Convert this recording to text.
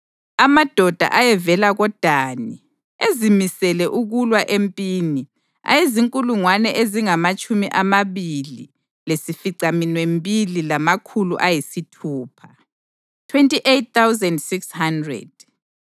amadoda ayevela koDani, ezimisele ukulwa empini, ayezinkulungwane ezingamatshumi amabili lesificaminwembili lamakhulu ayisithupha (28,600);